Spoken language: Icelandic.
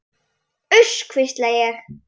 Uss, hvísla ég.